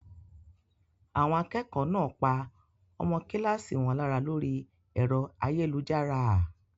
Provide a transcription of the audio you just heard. Àwọn akẹ́kọ̀ọ́ náà pa ọmọ kíláàsì wọn lára lórí ẹ̀rọ ayélujára?